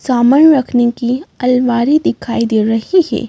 सामान रखने की अलवारी दिखाई दे रही है।